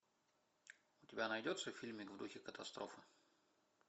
у тебя найдется фильмик в духе катастрофы